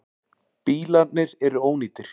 Bílarnir eru ónýtir.